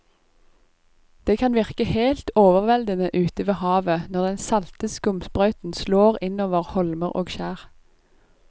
Det kan virke helt overveldende ute ved havet når den salte skumsprøyten slår innover holmer og skjær.